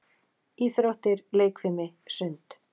Íþróttir- leikfimi- sund